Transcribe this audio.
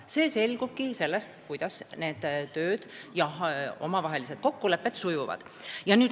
See oleneb sellest, kuidas need tööd ja omavahelised kokkulepped sujuvad.